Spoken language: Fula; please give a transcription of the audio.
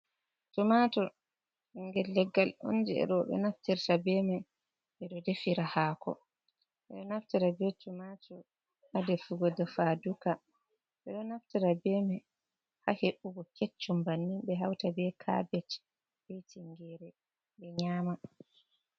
Tomato ɓingel leggal on ɓe naftirta be mai ɓeɗo defira hako, ɓeɗo naftira be tomato ha defugo defa duka ɓeɗo naftira be mai ha he’ugo keccum bannin ɓe hauta be cabet be tingere ɓe nyama.